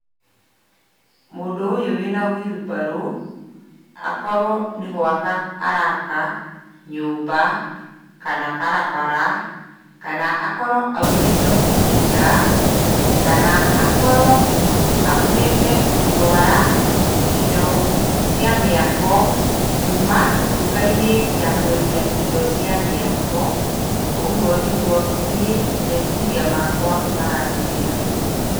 Mũndũ ũyũ wĩna wheelbarrow, akorwo nĩ gũaka araka nyũmba kana barabara kana akorwo aumĩte mũgũnda kana, akorwo aumĩte gũtwara indo cia mĩako kuma nduka-inĩ ya kwendia indo cia mĩako. Ũguo nĩguo niĩ meciria makwa maranjĩra.